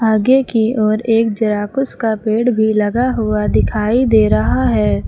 आगे की ओर एक जराकुश का पेड़ भी लगा हुआ दिखाई दे रहा है।